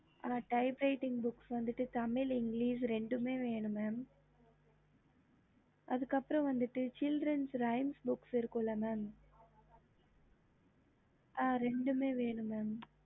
typing books Tamil and English ரெண்டுமே இருக்கு